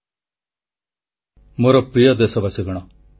• ପାର୍ବଣ ମେଳାରେ ଜଳ ସଂରକ୍ଷଣ ବାର୍ତ୍ତା ବାଣ୍ଟିବା ପାଇଁ ପ୍ରଧାନମନ୍ତ୍ରୀଙ୍କ ପରାମର୍ଶ